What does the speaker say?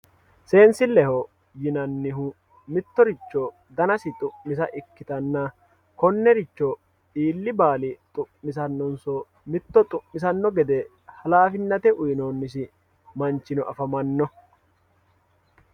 seensilleho yineemmohu mittoricho danasi xu'misa ikkitanna konneeicho iilli baali xu'misannonso mitto xu'misanno gede halaafinate uyiinoonnisi manchino afamanno